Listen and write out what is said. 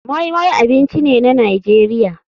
Moi moi abinci ne na nigeria.